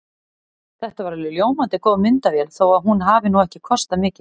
Þetta er alveg ljómandi góð myndavél þó að hún hafi nú ekki kostað mikið.